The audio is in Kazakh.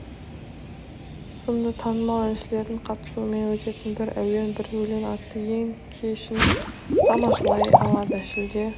сынды танымал әншілердің қатысуымен өтетін бір әуен бір өлең атты ән кешін тамашалай алады шілде